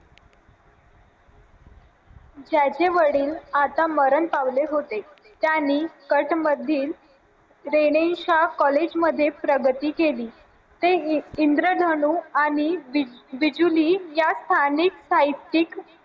ज्याचे वडील आता मरण पावले होते त्यांनी कठ मधील college मध्ये प्रगती केली ते हे इंद्रधनु आणि